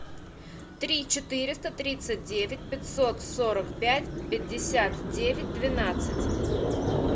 три четыреста тридцать девять пятьсот сорок пять пятьдесят девять двенадцать